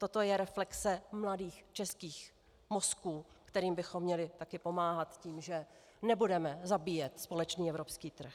Toto je reflexe mladých českých mozků, kterým bychom měli taky pomáhat tím, že nebudeme zabíjet společný evropský trh.